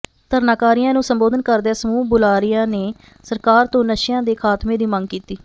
ਧਰਨਾਕਾਰੀਆਂ ਨੂੰ ਸੰਬੋਧਨ ਕਰਦਿਆਂ ਸਮੂਹ ਬੁਲਾਰਿਆਂ ਨੇ ਸਰਕਾਰ ਤੋਂ ਨਸ਼ਿਆਂ ਦੇ ਖਾਤਮੇ ਦੀ ਮੰਗ ਕੀਤੀ